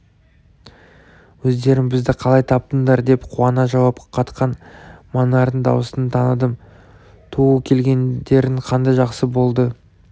өздерің бізді қалай таптыңдар деп қуана жауап қатқан манардың даусын таныдым түу келгендерің қандай жақсы болды